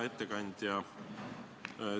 Hea ettekandja!